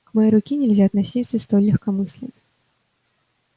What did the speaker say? к моей руке нельзя относиться столь легкомысленно